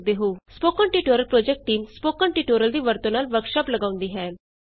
spoken tutorial project team spoken tutorial ਦੀ ਵਰਤੋਂ ਨਾਲ ਵਰਕਸ਼ਾਪ ਲਗਾਉਂਦੀ ਹੈ